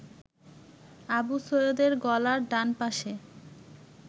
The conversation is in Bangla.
আবু সৈয়দের গলার ডানপাশে